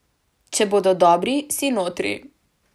Če bodo dobri, si notri.